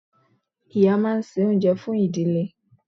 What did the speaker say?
Ìyá máa n se oúnjẹ fún ìdílé